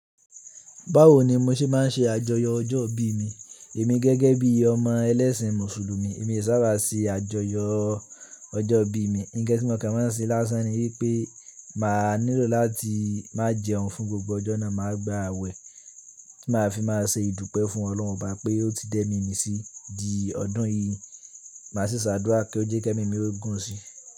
Báwo ni mo ṣe máa ń ṣe àjọyọ̀ ọjọ́ ìbí mi? Èmi gẹ́gẹ́ bí ọmọ ẹlẹ́sìn Mùsùlùmí, èmi e saábà ṣe àjọyọ̀ ọjọ́ ìbí mi. Ǹkan ti mo kan máa n ṣe lásán ni wípé máa nílò láti má jẹun fún gbogbo ọjọ́ náà, màá gba àwẹ̀ tí màá fi máa ṣe ìdúpẹ́ fún Ọlọ́run Obá pé ó ti da emi mí sí di ọdún yìí, màá sì ṣàdúrà kí ó jẹ́ kí ẹmi mi ó gùn si.